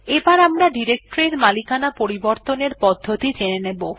এবার আমরা ডিরেকটরি এর মালিকানা পরিবর্তনের পদ্ধতি জেনে নেব